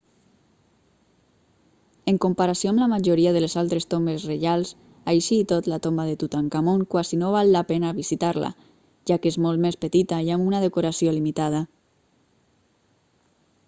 en comparació amb la majoria de les altres tombes reials així i tot la tomba de tutankamon quasi no val la pena visitar-la ja que és molt més petita i amb una decoració limitada